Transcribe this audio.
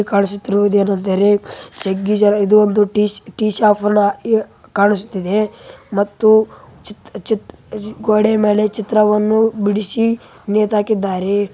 ಜಗ್ಗಿ ಜನ ಇಲ್ಲಿ ಕಾಣಿಸುತ್ತಿರುವುದು ಏನೆಂದರೆ ಇದು ಒಂದು ಟೀ ಶಾಪ್‌ನ ಕಾಣಿಸುತ್ತಿದೆ ಮತ್ತು ಗೋಡೆ ಮೇಲೆ ಚಿತ್ರವನ್ನು ಬಿಡಿಸಿ ನೇತು ಹಾಕಿಕೊಂಡಿದ್ದಾರೆ.